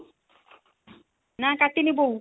ନାଁ, କାଟିନି ବୋଉ